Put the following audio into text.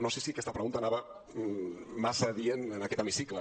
no sé si aquesta pregunta era massa adient en aquest hemicicle